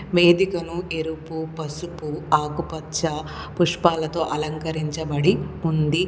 వేదికను ఎరుపు పసుపు ఆకుపచ్చ పుష్పాలతో అలంకరించబడి ఉంది.